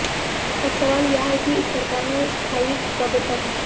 अब सवाल यह है कि इस सरकार में स्थायित्व कब तक